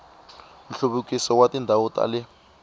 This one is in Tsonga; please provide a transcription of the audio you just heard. nhluvukiso wa tindhawu ta le